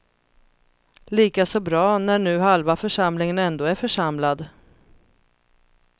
Lika så bra när nu halva församlingen ändå är församlad.